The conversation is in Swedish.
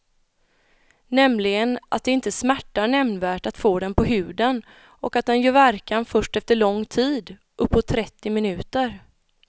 Nämligen att det inte smärtar nämnvärt att få den på huden och att den gör verkan först efter lång tid, uppåt trettio minuter.